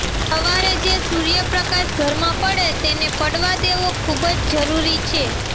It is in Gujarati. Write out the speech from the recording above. સવારે જે સૂર્યપ્રકાશ ઘરમાં પડે તેને પડવા દેવો ખૂબ જરૂરી છે